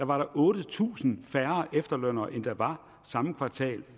var der otte tusind færre efterlønnere end der var samme kvartal